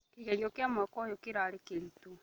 Kĩgerio kĩa mwaka ũyũkĩrarĩ kĩritũ